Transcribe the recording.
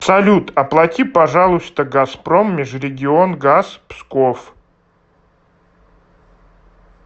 салют оплати пожалуйста газпром межрегионгаз псков